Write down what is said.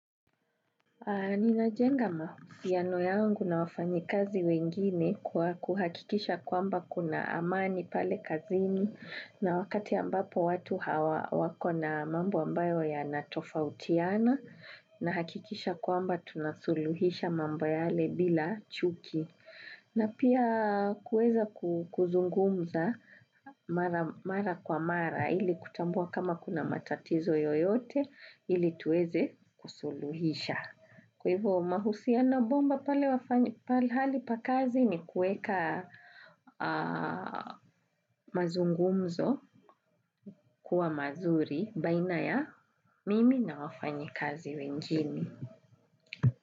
Nina jenga mahusiano yangu na wafanyikazi wengine kwa kuhakikisha kwamba kuna amani pale kazini na wakati ambapo watu hawa wakona mambo ambayo yanatofautiana na hakikisha kwamba tunasuluhisha mambo yale bila chuki. Napia kuweza kuzungumza mara kwa mara ili kutambua kama kunamatatizo yoyote ili tuweze kusuluhisha. Kwa hivyo mahusiano bomba pale pahali pa kazi ni kueka mazungumzo kuwa mazuri baina ya mimi na wafanyi kazi wengine.